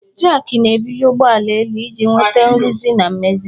Jakị na-ebuli ụgbọ ala iji nweta nrụzi na mmezi.